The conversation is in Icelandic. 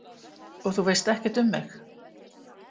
Og þú veist ekkert um mig